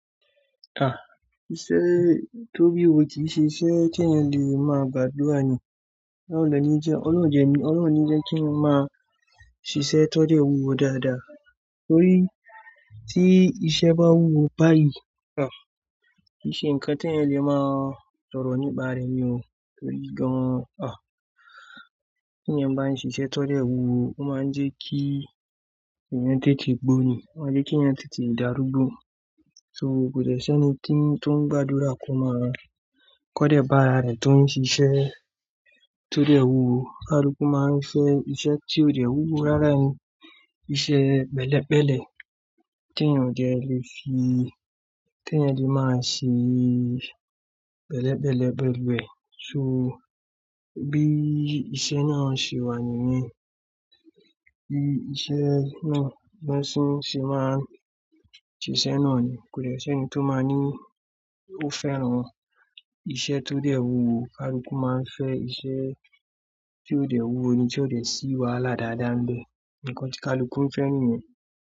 À, iṣẹ́ tó bí òwò kì í ṣiṣẹ́ kí ẹ̀yin lè máa gbàdúrà ni. Olorun o de ní jẹ́ kí eyen máa n ṣiṣẹ́ tó dẹ́ wúwo dáadáa. Torí tí iṣẹ́ bá wúwo báyìí, kì í ṣe nǹkan tí ẹ̀yen lè máa sọ̀rọ̀ nípa rẹ̀ ni o. Torí gan-an, tí ẹ̀yen bá ń ṣiṣẹ́ tó dẹ́ wúwo, ó máa ń jẹ́ kí ẹ̀yin tètè gbó ni, ó máa ń jẹ́ kí ẹ̀yen tètè dárúgbó. So, kò dẹ́ṣi eni tó ń gbàdúrà ko de bá ara rẹ̀ tó ń ṣiṣẹ́ tó dẹ́ wúwo. Kaluku máa ń fẹ́ iṣẹ́ tí ò dẹ́ wúwo rárá ni, iṣẹ́ pẹ̀lẹ́pẹ̀lẹ́ tí ẹ̀yen lè máa ṣe pẹ̀lẹ́pẹ̀lẹ́ pẹ̀lú ẹ̀. So bí iṣẹ́ náà ṣe wà nìyẹn, bí won se máà n ṣe iṣẹ́ náà ni, kò dẹ́ṣi eni tó máa ní ó fẹ́ran iṣẹ́ tó dẹ́ wúwo. Kaluku máa ń fẹ́ iṣẹ́ tí ò dẹ́ wúwo ni, tí ó dẹ̀ sí wàhálà dáadáa nìbe. Ǹkan tí Kaluku ń fẹ́ nìyẹn.